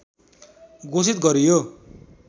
घोषित गरियो